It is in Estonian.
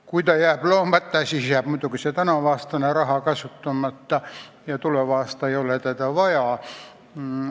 Kui ta jääb loomata, siis jääb muidugi see tänavune raha kasutamata ja tuleval aastal ei ole seda vaja.